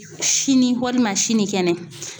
Sini walima sini kɛnɛ